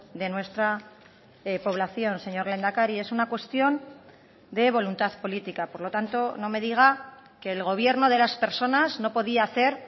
de nuestra población señor lehendakari es una cuestión de voluntad política por lo tanto no me diga que el gobierno de las personas no podía hacer